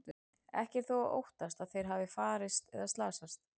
Ekki er þó óttast að þeir hafi farist eða slasast.